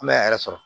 An bɛ a yɛrɛ sɔrɔ